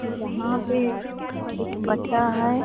यहां पे एक बच्चा है।